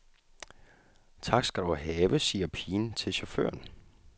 Tak skal du have, siger pigen til chaufføren.